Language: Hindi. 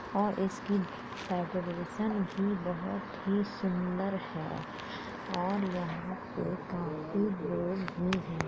और इसकी डेकोरेशन भी बहुत ही सुंदर है और यहां पे काफी लोग भी हैं।